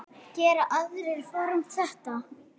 Gera aðrir form. þetta?